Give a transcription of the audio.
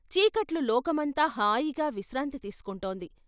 చీకట్లో లోకమంతా హాయిగా విశ్రాంతి తీసుకుంటోంది.